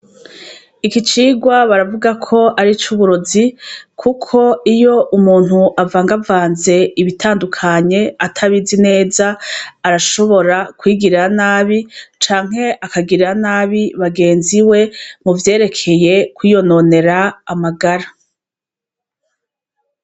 Igicirwa baravuga ko ari cuburozi, kuko iyo umuntu avangavanze ibitandukanye atabizi neza arashobora kwigirira nabi canke akagirira nabi bagenzi we muvyerekeye kwiyononera amagara.